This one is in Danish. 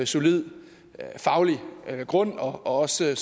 solid faglig grund og også